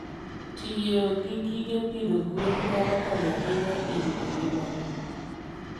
Tiyo gi gige pidho gwen nyalo konyo ahinya e rito ngima le.